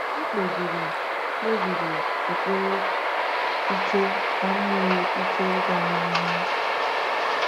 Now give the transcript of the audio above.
M kpebiri kpebiri ekpere ike ka m nwee ike ịga n’ihu.